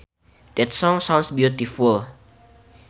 That song sounds beautiful